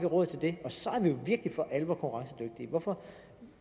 råd til det og så er vi jo virkelig for alvor konkurrencedygtige hvorfor